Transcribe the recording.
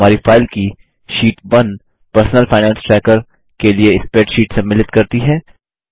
हमारी फाइल की sheet 1 personal finance tracker के लिए स्प्रैडशीट सम्मिलित करती है